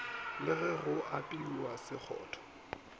le ge go apewa sekgotho